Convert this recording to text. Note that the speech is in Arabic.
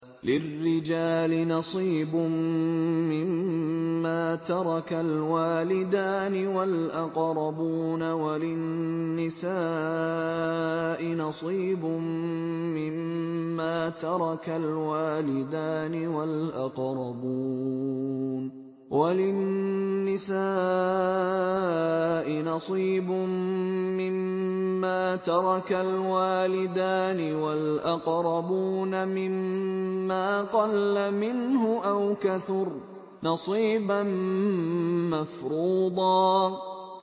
لِّلرِّجَالِ نَصِيبٌ مِّمَّا تَرَكَ الْوَالِدَانِ وَالْأَقْرَبُونَ وَلِلنِّسَاءِ نَصِيبٌ مِّمَّا تَرَكَ الْوَالِدَانِ وَالْأَقْرَبُونَ مِمَّا قَلَّ مِنْهُ أَوْ كَثُرَ ۚ نَصِيبًا مَّفْرُوضًا